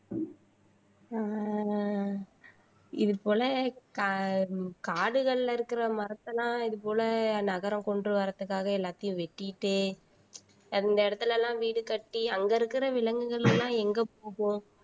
ஆஹ் இது போல கா காடுகள்ல இருக்கிற மரத்த எல்லாம் இது போல நகரம் கொண்டு வரதுக்காக எல்லாத்தையும் வெட்டீட்டு அந்த இடத்துல எல்லாம் வீடு கட்டி அங்க இருக்கிற விலங்குகள் எல்லாம் எங்க போகும்